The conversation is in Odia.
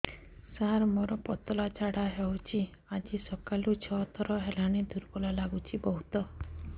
ସାର ମୋର ପତଳା ଝାଡା ହେଉଛି ଆଜି ସକାଳୁ ଛଅ ଥର ହେଲାଣି ଦୁର୍ବଳ ଲାଗୁଚି ବହୁତ